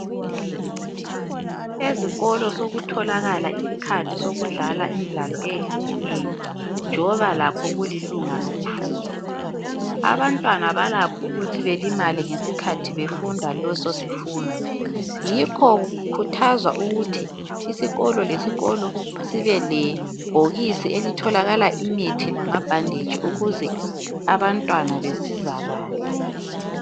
Ezikolo sokutholakala isikhathi sokudlala imidlalo eyehlukeneyo njoba lakho kulilunga lokufunda. Abantwana balakho ukuthi belimale ngesikhathi befunda leso sifundo, yikho kukhuthazwa ukuthi isikolo lesikolo sibe lebhokisi elitholakala imithi lamabhanditshi ukuze abantwana besizakale.